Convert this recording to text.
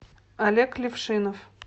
олег левшинов